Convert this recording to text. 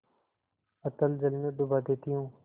अतल जल में डुबा देती हूँ